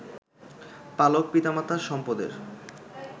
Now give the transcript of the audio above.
পালক পিতামাতার সম্পদের